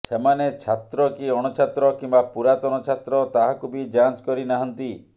ସେମାନେ ଛାତ୍ର କି ଅଣଛାତ୍ର କିମ୍ବା ପୁରାତନ ଛାତ୍ର ତାହାକୁ ବି ଯାଞ୍ଚ କରି ନାହାନ୍ତି